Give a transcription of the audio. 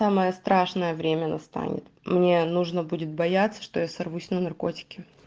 самое страшное время настанет мне нужно будет бояться что я сорвусь на наркотики